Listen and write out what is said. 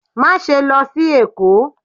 Maṣe lọ sí Èko!